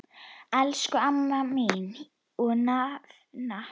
Elsku amma mín og nafna.